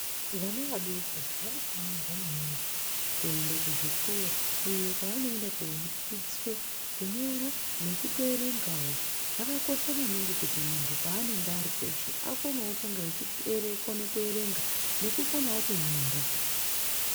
Vana vadoko vanofanirwa maningi kuenda kuzvikora iyo kwaanoenda kundo dzidziswa kunyora nekutoerengawo zvakakosha maningi kuti munhu paanenge ari peshe akonewo kunga eyi kona kuerenga nekukonawo kunyora.